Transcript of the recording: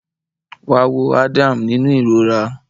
Wá wo Adam nínú ìrora